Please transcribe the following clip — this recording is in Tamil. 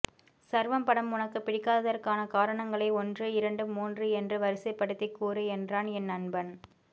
சர்வம் படம் உனக்கு பிடிக்காததற்கான காரணங்களை ஒன்று இரண்டு மூன்று என்று வரிசைப்படுத்திக் கூறு என்றான் என் நண்பன்